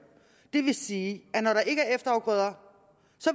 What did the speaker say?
det vil sige at når der ikke er efterafgrøder